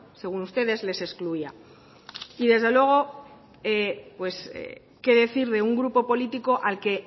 según ustedes les excluía y desde luego pues qué decir de un grupo político al que